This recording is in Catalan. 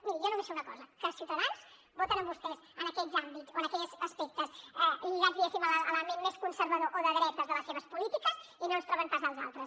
miri jo només sé una cosa que ciutadans voten amb vostès en aquests àmbits o en aquells aspectes lligats diguéssim a l’element més conservador o de dretes de les seves polítiques i no ens troben pas als altres